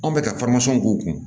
Anw bɛ ka k'u kun